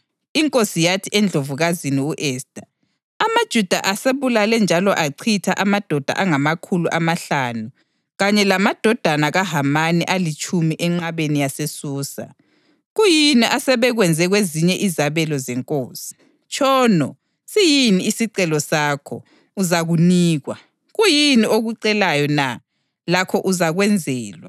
Inkosi yathi eNdlovukazini u-Esta, “AmaJuda asebulale njalo achitha amadoda angamakhulu amahlanu kanye lamadodana kaHamani alitshumi enqabeni yaseSusa. Kuyini asebekwenze kwezinye izabelo zenkosi? Tshono, siyini isicelo sakho? Uzakunikwa. Kuyini okucelayo na? Lakho uzakwenzelwa.”